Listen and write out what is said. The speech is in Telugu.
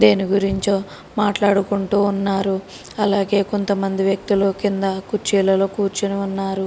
దేని గురించో మాట్లాడుకుంటూ ఉన్నారు అలాగే కొంతమంది వ్యక్తులు కింద కుర్చీలలో కూర్చుని ఉన్నారు